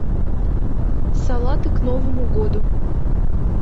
салаты к новому году